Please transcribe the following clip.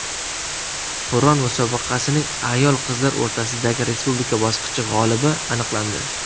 Qur’on musobaqasining ayol-qizlar o‘rtasidagi respublika bosqichi g‘olibi aniqlandi.